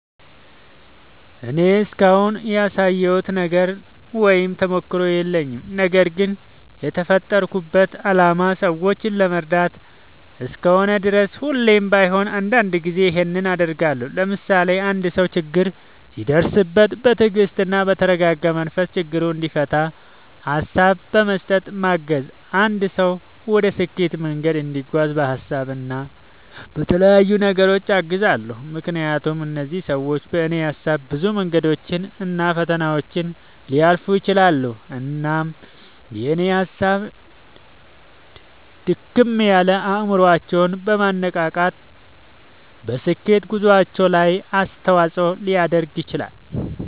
እኔ እስካሁን ያሳካሁት ነገር ወይም ተሞክሮ የለኝም። ነገርግን የተፈጠርኩበት አላማ ሰዎችን ለመርዳት እስከሆነ ድረስ ሁሌም ባይሆን አንዳንድ ጊዜ ይኸንን አደርጋለሁ። ለምሳሌ፦ አንድ ሰው ችግር ሲደርስበት በትግስትና በተረጋጋ መንፈስ ችግሩን እንዲፈታ ሀሳብ በመስጠት ማገዝ፣ አንድ ሰው ወደ ስኬት መንገድ እንዲጓዝ በሀሳብ እና በተለያዩ ነገሮች አግዛለሁ። ምክንያቱም እነዚህ ሰዎች በኔ ሀሳብ ብዙ መንገዶችን እና ፈተናዎችን ሊያልፉ ይችላሉ። እናም የኔ ሀሳብ ድክም ያለ አይምሮአቸውን በማነቃቃት በስኬት ጉዞአቸው ላይ አስተዋጽኦ ሊያደርግ ይችላል።